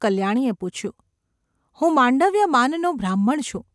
’ કલ્યાણીએ પૂછ્યું. ‘હું માંડવ્ય માનનો બ્રાહ્મણ છું.